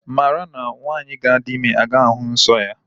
Mara na nwaanyị ga-adi ime agaghi ahụ nsọ ya.